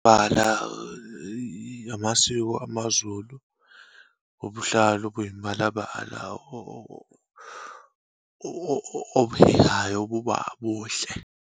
Bala amasiko amaZulu, ubuhlalu obuyimibalabala obuhehayo, obuba buhle.